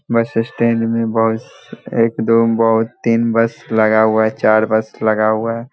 बस स्टैन्ड मे बस एक दो बहुत तीन बस लगा हुआ है चार बस लगा हुआ है।